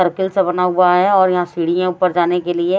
Circle से बना हुआ है और यहां सीढ़ियां ऊपर जाने के लिए।